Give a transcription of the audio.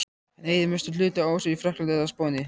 Hann eyðir mestum hluta ársins í Frakklandi eða á Spáni.